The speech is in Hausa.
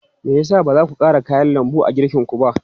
Me ya sa ba za ku ƙara kayan lambu a girkinku ba?